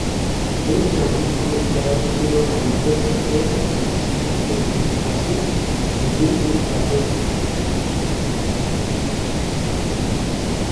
Belgium akot koraa kotindoo kamugeet kocheer kabelisyeet nekoroom en Brazil missing en rateet